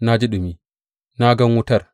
Na ji ɗumi; na gan wutar.